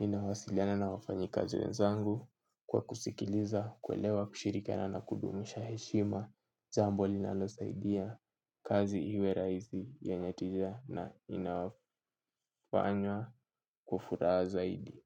ninawasiliana na wafanyi kazi wenzangu. Kwa kusikiliza, kuelewa, kushirikana na kudumisha heshima jambo linalosaidia kazi iwe rahisi yenye tija na inafanywa kwa furaha zaidi.